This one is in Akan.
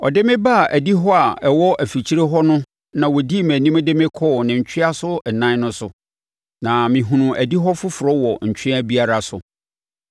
Ɔde me baa adihɔ a ɛwɔ afikyire hɔ no na ɔdii mʼanim de me kɔɔ ne ntweaso ɛnan no so, na mehunuu adihɔ foforɔ wɔ ntwea biara so.